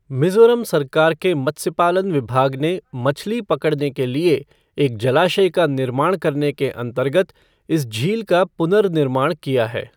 मिजोरम सरकार के मत्स्यपालन विभाग ने मछली पकड़ने के लिए एक जलाशय का निर्माण करने के अंतर्गत इस झील का पुनर्निर्माण किया है।